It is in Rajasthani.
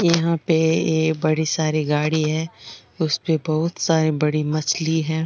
यहाँ पे ए बड़ी सारी गाड़ी है उसपे बहुत सारी बड़ी मछली है।